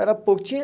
Era pouco. Tinha